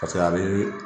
paseke a be